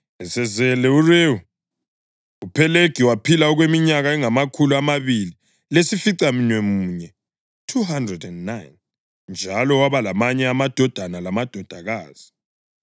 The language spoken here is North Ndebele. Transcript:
Esezele uRewu, uPhelegi waphila okweminyaka engamakhulu amabili lesificamunwemunye (209), njalo waba lamanye amadodana lamadodakazi.